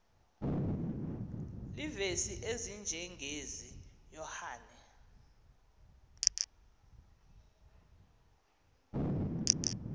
iivesi ezinjengezi yohane